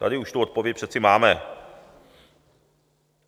Tady už tu odpověď přeci máme.